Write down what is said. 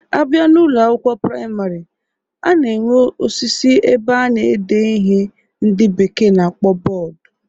A bịa n'Ụlọ akwụkwọ praịmarị, a na-enwe osisi ebe a na-ede ihe ndị bekee na-akpọ bọọdu